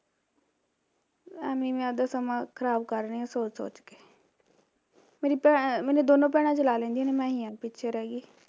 ਅਵੇ ਈ ਮੈਂ ਆਪਣਾ ਸਮਾਂ ਖਰਾਬ ਕਰ ਰਹੀ ਆਂ ਸੋਚ ਸੋਚ ਕੇ ਮੇਰੀ ਭੈਣ ਦੋਨੋਂ ਭੈਣਾਂ ਚਲਾ ਲੈਂਦੀਆਂ ਨੇ ਮੈਂ ਹੀਂ ਆ ਪਿੱਛੇ ਰਹਿਗੀ